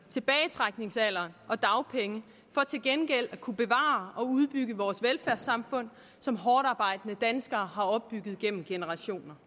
tilbagetrækningsalder og dagpenge for til gengæld at kunne bevare og udbygge vores velfærdssamfund som hårdtarbejdende danskere har opbygget gennem generationer